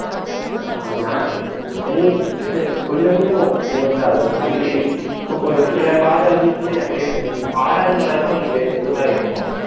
ஆஹ் நா~ செங்குத்~ கொஞ்சம் கொஞ்சம் செங்குத்தா இருக்கும் அடிக்கடி இப்போ கொ~ சிலபாதை வந்து அப்படியே ஆறாவது மலை எல்லாம் உனக்கு மெ~ மெதுவா ஏறும்